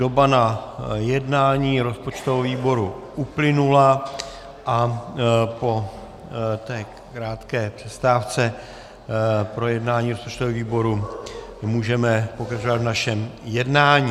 Doba na jednání rozpočtového výboru uplynula a po té krátké přestávce pro jednání rozpočtového výboru můžeme pokračovat v našem jednání.